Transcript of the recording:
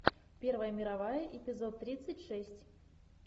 первая мировая эпизод тридцать шесть